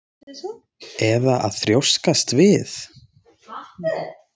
Eða að þrjóskast við?